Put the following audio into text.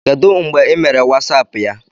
Kedu mgbe ị mere WhatsApp ya?